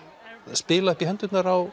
spila upp í hendurnar á